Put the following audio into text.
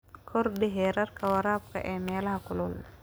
Kordhi heerka waraabka ee meelaha kulul.